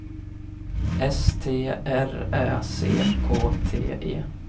S T R Ä C K T E